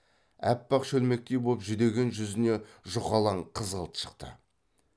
аппақ шөлмектей боп жүдеген жүзіне жұқалаң қызғылт шықты